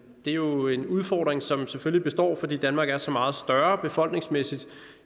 er jo en udfordring som selvfølgelig består fordi danmark er så meget større befolkningsmæssigt